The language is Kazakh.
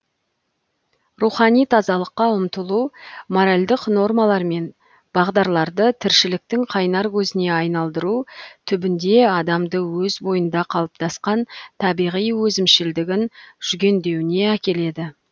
рухани тазалыққа ұмтылу моральдық нормалар мен бағдарларды тіршіліктің қайнар көзіне айналдыру түбінде адамды өз бойында қалыптасқан табиғи өзімшілдігін жүгендеуіне әкеледі